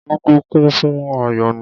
.Ugwu kún fún áyọ́nù.